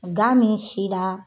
Gan min sina